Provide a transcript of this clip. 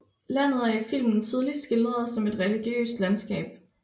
Landet er i filmen tydeligt skildret som et religiøst landskab